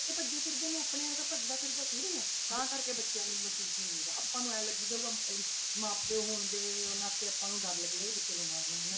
ਬੱਚੇ ਭੱਜੇ ਫਿਰਦੇ ਨੇ ਆਪਣੇ ਵਰਗਾ ਭੱਜਦਾ ਫਿਰਦਾ ਥੋੜ੍ਹੀ ਆ, ਤਾਂ ਕਰਕੇ ਬੱਚਿਆਂ ਨੂੰ ਮਹਿਸੂਸ ਨੀ ਹੁੰਦਾ ਆਪਾਂ ਨੂੰ ਇਉਂ ਲੱਗੀ ਜਾਊਗਾ ਇਹ ਮਾਂ ਪਿਓ ਹੁੰਦੇ ਉਹਨਾਂ ਤੇ ਆਪਾਂ ਨੂੰ ਡਰ ਲੱਗੀ ਜਾਊ ਬੱਚੇ ਬਿਮਾਰ ਨਾ ਹੋ ਜਾਣ।